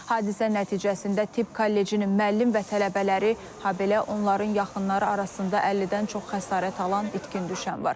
Hadisə nəticəsində tibb kollecinin müəllim və tələbələri, habelə onların yaxınları arasında 50-dən çox xəsarət alan itkin düşən var.